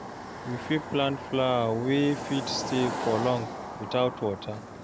You fit plant flower wey fit stay for long without water